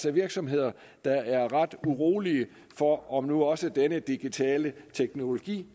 er virksomheder der er ret urolige for om nu også denne digitale teknologi